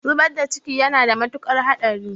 Zubar da ciki yana da mutuƙar haɗari.